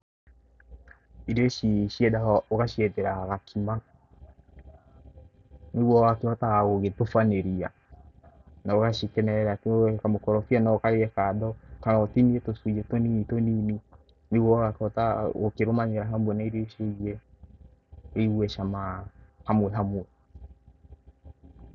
Irio ici ciendaga Ugaciethera gakima nĩguo ũgakĩhotaga gũgĩtubanĩria na ũgacikenerera atĩ ũũ kamakorobia no ũkarĩe kando kana ũtinie tũcunjĩ tũnini tũnini nĩguo ũgakĩhota gũkĩrũmanĩra hamwe na irio ici ingĩ ũigue cama hamwe hamwe.